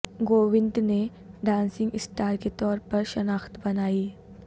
گووندہ نے dancing star کے طور پر شناخت بنائی